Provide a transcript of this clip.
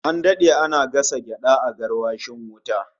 An dade ana gasa gyada a garwashin wuta